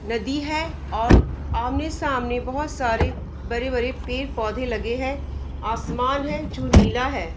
नदी है और आमने सामने बहुत सारे बड़े बड़े पेड़ पौधे लगे हैं | आसमान है जो नीला है |